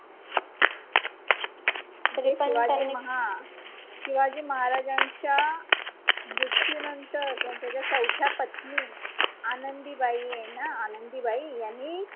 शिवाजी हा शिवाजी महाराजांच्या मृत्यूनंतर त्यांच्या ज्या चौथ्या पत्नी आनंदीबाई आहे ना आनंदीबाई यांनी